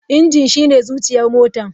Injin shine zuciyar motar.